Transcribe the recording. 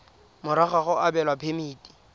morago ga go abelwa phemiti